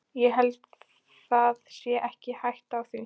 Ég held það sé ekki hætta á því.